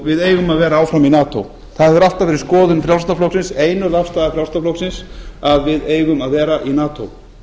við eigum að vera áfram í nato það hefur alltaf verið skoðun frjálslynda flokksins einörð afstaða frjálslynda flokksins að við eigum að vera í nato